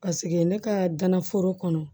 Paseke ne ka gana foro kɔnɔ